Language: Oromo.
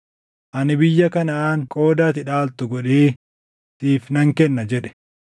“Ani biyya Kanaʼaan qooda ati dhaaltu godhee, siif nan kenna” jedhe.